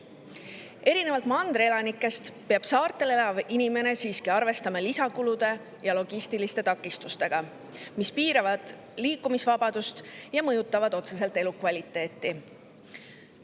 Erinevalt mandri elanikest peab saartel elav inimene siiski arvestama lisakulude ja logistiliste takistustega, mis piiravad liikumisvabadust ja mõjutavad otseselt elukvaliteeti.